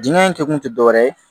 Dingɛ in kɛkun tɛ dɔwɛrɛ ye